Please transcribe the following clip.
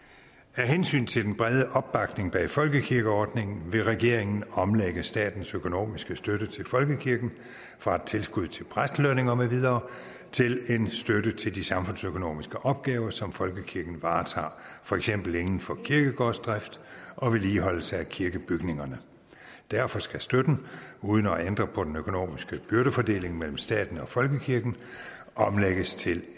hensyn til den brede opbakning bag folkekirkeordningen vil regeringen omlægge statens økonomiske støtte til folkekirken fra et tilskud til præstelønninger med videre til en støtte til de samfundsopgaver som folkekirken varetager fx inden for kirkegårdsdrift og vedligeholdelse af kirkebygningerne derfor skal støtten uden at ændre på den økonomiske byrdefordeling mellem staten og folkekirken omlægges til